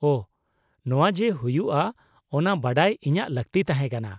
-ᱳᱦ, ᱱᱚᱣᱟ ᱡᱮ ᱦᱩᱭᱩᱜᱼᱟ ᱚᱱᱟ ᱵᱟᱰᱟᱭ ᱤᱧᱟᱜ ᱞᱟᱹᱠᱛᱤ ᱛᱟᱦᱮᱸ ᱠᱟᱱᱟ ᱾